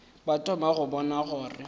ba thoma go bona gore